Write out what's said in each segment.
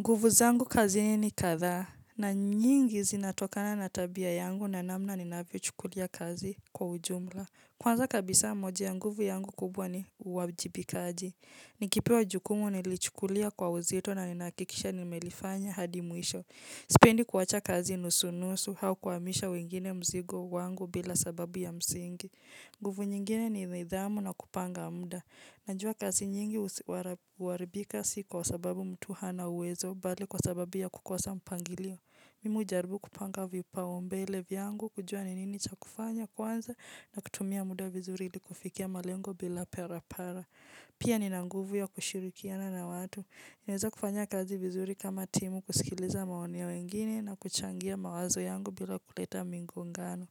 Nguvu zangu kazini ni kadhaa na nyingi zinatokana na tabia yangu na namna ninavyo chukulia kazi kwa ujumla. Kwanza kabisa moja ya nguvu yangu kubwa ni uwajibikaji. Nikipewa jukumu nalichukulia kwa uzito na ninahakikisha nimelifanya hadi mwisho. Sipendi kuwacha kazi nusunusu hau kuwahamisha wengine mzigo wangu bila sababu ya msingi. Nguvu nyingine ni nidhamu na kupanga muda. Najuwa kazi nyingi huwaribika si kwa sababu mtu hana uwezo, bali kwa sababu ya kukosa mpangilio. Mimi hujaribu kupanga vipaombele vyangu kujua ni nini cha kufanya kwanza na kutumia muda vizuri ili kufikia malengo bila parapara. Pia nina nguvu ya kushirikiana na watu. Naeza kufanya kazi vizuri kama timu kusikiliza maoni ya wengine na kuchangia mawazo yangu bila kuleta migongano.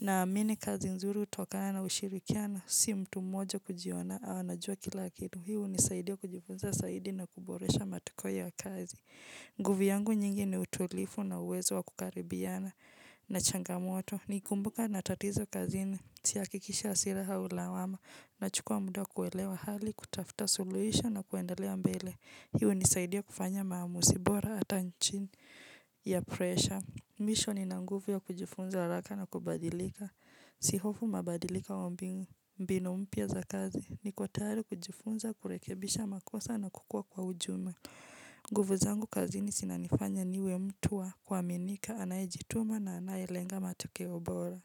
Naamini kazi nzuri hutokana na ushirikiana, si mtu mmoja kujiona, anajua kila kitu. Hii hunisaidia kujifunza zaidi na kuboresha matokeo ya kazi. Nguvu yangu nyingi ni utulivu na uwezo wa kukaribiana na changamoto. Nikikumbuka ninatatizo kazini, sihakikishi hasira au lawama, na chukua muda kuelewa hali, kutafuta suluhisho na kuendelea mbele. Hii hunisaidia kufanya maamuzi bora hata chini ya pressure. Mwisho nina nguvu ya kujifunza haraka na kubadilika. Sihofu mabadiliko wa mbinu, mbinu mpya za kazi. Niko tayari kujifunza, kurekebisha makosa na kukua kwa ujumla. Nguvu zangu kazini zinanifanya niwe mtu wa kuaminika, anayejituma na anayelenga matokeo bora.